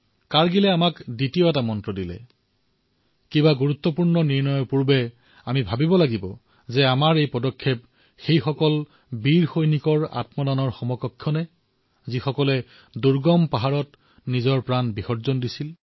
কাৰ্গিলে আমাক দ্বিতীয়টো মন্ত্ৰ দিছে কোনো গুৰুত্বপূৰ্ণ সিদ্ধান্ত গ্ৰহণ কৰাৰ পূৰ্বে আমি এয়া চিন্তা কৰাটো আৱশ্যক যে আমাৰ এই পদক্ষেপে সেই সৈনিকৰ সন্মানৰ অনুৰূপ হৈছে নে যিয়ে সেই দুৰ্গম পাহাৰত নিজৰ প্ৰাণৰ আহুতি দিছে